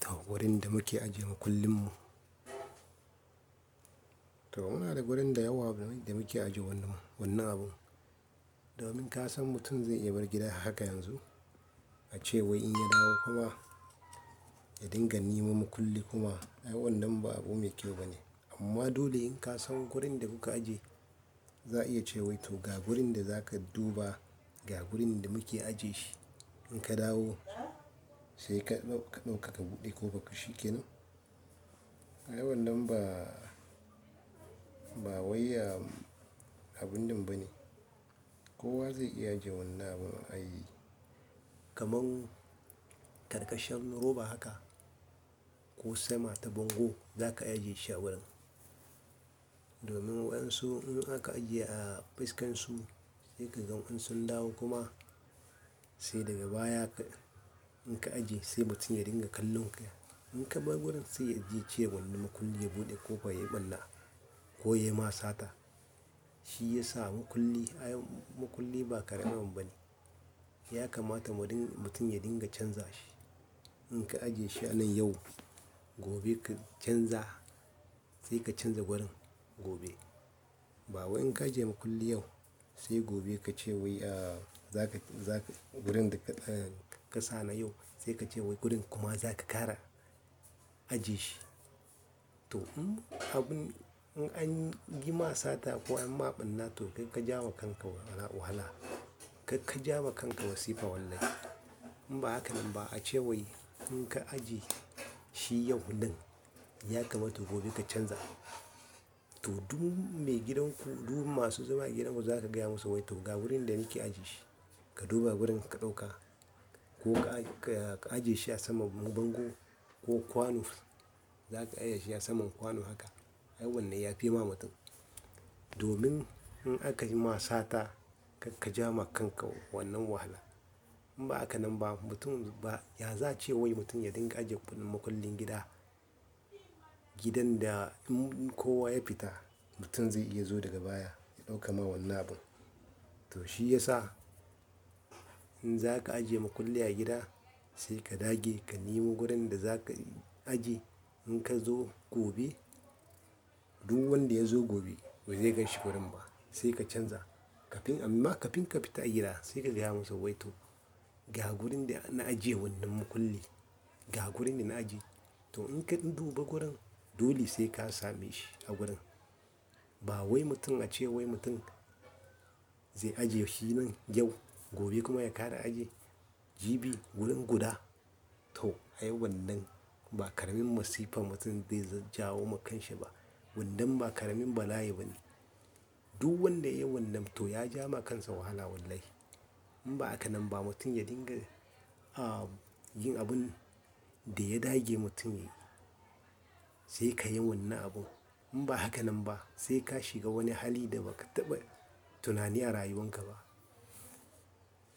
To gurin da muke ajiye makullin mu. To muna da gurin da yawa da muke ajiye wannan, wannan abun. Domin ka san mutum zai iya bar gida haka yanzu, ace wai in ya dawo kuma ya dinga neman makulli kuma, ai wannan ba abu mai kyau bane. Amma dole in ka san gurin da kuka ajiye, za a iya ce wai to ga gurin da za ka duba, ga gurin da muke ajiye shi. In ka dawo sai ka ɗauka ka buɗe ko bakin shi ke nan. Ai wannan ba, ba wayya abun din ba ne. Kowa zai iya ajiye wannan abun a yi kamar karkashin roba haka ko sama ta bango za ka ajiye shi a wurin. Domin in an so in aka ajiye a fuskansu sai ka ga an so in dawo kuma sai daga baya ka, in ka ajiye sai mutum ya dinga kallon ka. In ka bar gurin sai ya je cewa wani makulli ya buɗe ko fa ya ɓalla ko ya ma sata. Shi ya sa makulli, ai makulli ba ƙaramin abu ba ne. Ya kamata mutum ya dinga canza shi. In ka ajiye shi a nan yau, gobe ka canza sai ka canza wurin gobe. Ba wai in ka ajiye makulli yau sai gobe ka ce wai, ah, za ka, za ka gurin da ƙasa na yau sai ka ce wai gurin kuma za ka ƙara ajiye shi. To in abun, in an yi ma sata ko an maɓanna to kai ka ja ma kanka wahala. Kai ka ja ma kanka masifa wallahi. In ba haka nan ba a ce wai in ka ajiye shi yau nan ya kamata gobe ka canza. To duk mai gidanku, duk masu zama a gidan ku za ku gaya musu wai to ga wurin da nake ajiye shi. Ka duba wurin ka ɗauka ko ka, ka ajiye shi a saman bango ko kwano. Za ka aje shi a saman kwano haka. Ai wannan ya fi ma mutum. Domin in aka yi ma sata kak, ka ja ma kanka wannan wahala. In ba haka nan ba mutum ba, ya za a ce wai mutum ya dinga ajiye wannan makullin gida. Gidan da in kowa ya fita mutum zai iya zuwa daga baya ya ɗauka ma wannan abun. To shi ya sa in za ka ajiye makulli a gida sai ka dage ka nemo gurin da za ka ajiye. In ka zo gobe duk wanda ya zo gobe ba zai ganshi gurin ba sai ka canza. Kafin amma kafin ka fita a gida sai ka gaya musu wai to ga gurin da na ajiye wannan makulli, ga gurin da na ajiye. To in ka duba gurin dole sai ka same shi a gurin. Ba wai mutum a ce wai mutum zai ajiye shi nan yau gobe kuma ya ƙara ajiye. Jibi wurin guda. To ai wannan ba ƙaramin masifa mutum zai jajjawo ma kanshi ba. Wannan ba ƙaramin bala'i ba ne. Duk wanda ya yi wannan to ya ja ma kansa wahala wallahi. In ba haka nan ba mutum ya dinga, ah, yin abun da ya dage mutum yi. Sai ka yi wannan abun. In ba haka nan ba sai ka shiga wani hali da ba ka taɓa tunani a rayuwan ka ba.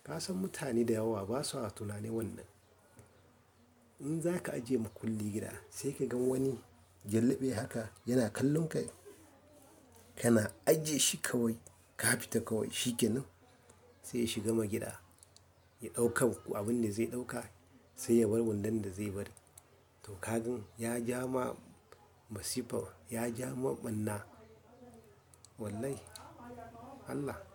Ka san mutane da yawa basu a tunani wannan. In za ka ajiye makulli gida sai ka ga wani jallibi haka yana kallon ka, kana ajiye shi kawai ka fita kawai shi ke nan. Sai ya shiga ma gida ya ɗauka abun da zai ɗauka sai ya bar wannan da zai bari. To ka gan ya ja ma masifa, ya ja ma ɓanna wallahi Allah.